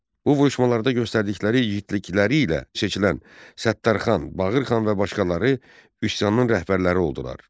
Bu vuruşmalarda göstərdikləri igidlikləri ilə seçilən Səttərxan, Bağırxan və başqaları üsyanın rəhbərləri oldular.